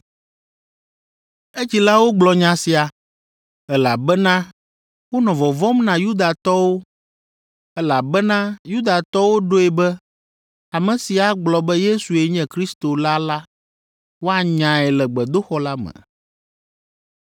Edzilawo gblɔ nya sia, elabena wonɔ vɔvɔ̃m na Yudatɔwo, elabena Yudatɔwo ɖoe be ame si agblɔ be Yesue nye Kristo la la, woanyae le gbedoxɔ la me.